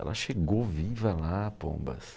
Ela chegou viva lá, Pombas.